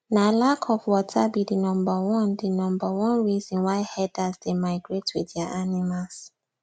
na lack of water be the number one the number one reason why herders dey migrate with their animals